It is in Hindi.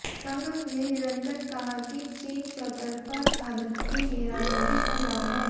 संघ ने निरंतर कहा कि चीन चौतरफा भारत की घेराबंदी कर रहा है